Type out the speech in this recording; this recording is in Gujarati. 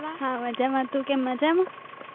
મજામાં. તું કેમ મજામાં?